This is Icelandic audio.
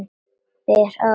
Ber að ofan.